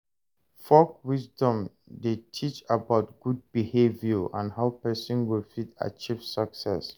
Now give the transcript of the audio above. Folk wisdom de teach about good behavior and how persin go fit achieve success